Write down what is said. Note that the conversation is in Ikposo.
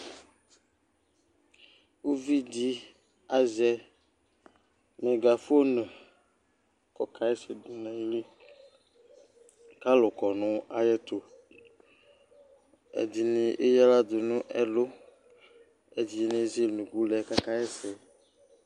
uvi di azɛ megafon k'ɔka ɣa ɛsɛ do n'ayili k'alò kɔ no ayi ɛto ɛdini eya ala do n'ɛlu ɛdini ezele unuku lɛ k'aka ɣa ɛsɛ